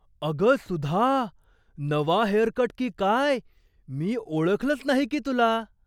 अगं सुधा, नवा हेअरकट की काय! मी ओळखलंच नाही की तुला!